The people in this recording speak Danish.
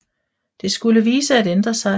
Det skulle vise sig at ændre sig